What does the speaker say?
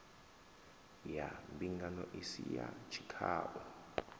ya mbingano isi ya tshikhau